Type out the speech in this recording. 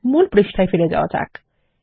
মূল পৃষ্ঠায় ফিরে যাওয়া যাক